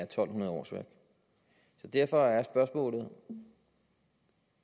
to hundrede årsværk derfor er spørgsmålet